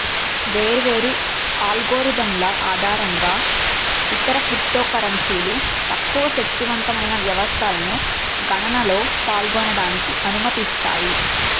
వేర్వేరు అల్గోరిథంల ఆధారంగా ఇతర క్రిప్టోకరెన్సీలు తక్కువ శక్తివంతమైన వ్యవస్థలను గణనలో పాల్గొనడానికి అనుమతిస్తాయి